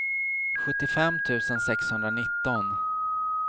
sjuttiofem tusen sexhundranitton